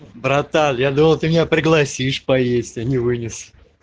братан я думал ты меня пригласишь поесть а не вынес